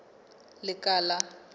lekala